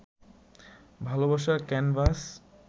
ভালবাসার ক্যানভাস